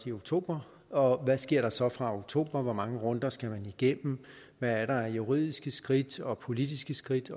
i oktober og hvad sker der så fra oktober hvor mange runder skal man igennem hvad er der af juridiske skridt og politiske skridt